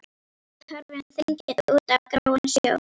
Við horfum þegjandi út á gráan sjó.